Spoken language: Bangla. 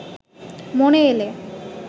মনে এলে